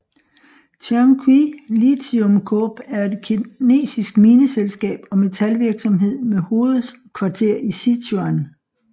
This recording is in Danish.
Tianqi Lithium Corp er et kinesisk mineselskab og metalvirksomhed med hovedkvarter i Sichuan